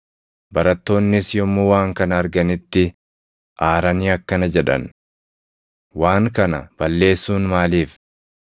Barattoonnis yommuu waan kana arganitti aaranii akkana jedhan; “Waan kana balleessuun maaliif?